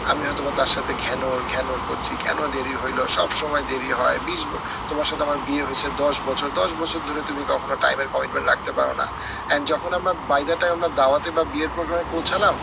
আমি হয়তো বা তার সাথে ঘ্যানর ঘ্যানর করছি, কেন দেরি হইলো সব সময় দেরি হয় তোমার সাথে আমার বিয়ে হয়েছে দশ বছর দশ বছর ধরে তুমি কখনো time এর commitment রাখতে পারো না। and যখন আমরা বাইরেটাই আমরা দাওয়াতে বা বিয়ের program এ পৌছালাম